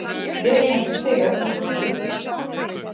Gerir þetta stig eitthvað fyrir liðið?